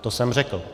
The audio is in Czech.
To jsem řekl.